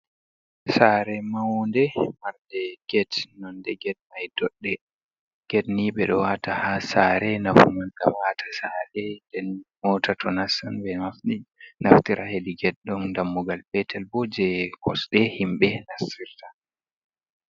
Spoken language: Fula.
Sare maunde marde get nonde get mai dodɗe. Get ni bedo wata ha sare, nafu man gam ata sare den mota to nassan be nafti naftira hedi get . Ɗon dammugal petel bo je kosde himbe naftirta.